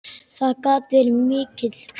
Það gat verið mikil hvíld.